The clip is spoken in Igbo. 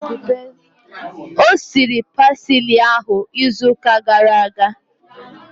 O siri pasili ahu izu ụka gara aga